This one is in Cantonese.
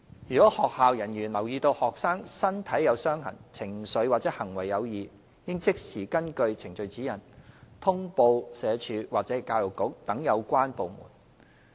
如學校人員留意到學生身體有傷痕、情緒或行為有異，應即時根據《程序指引》通報社署或教育局等有關部門。